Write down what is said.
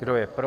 Kdo je pro?